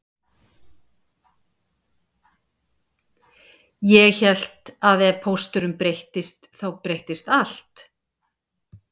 Ég hélt að ef pósturinn breyttist þá breyttist allt